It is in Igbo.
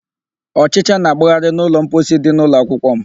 Ọchịcha na-agbagharị n'ụlọ mposi dị n'ụlọakwukwọ m.